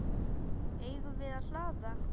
Eigum við að hlaða?